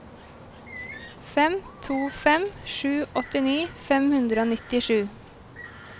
fem to fem sju åttini fem hundre og nittisju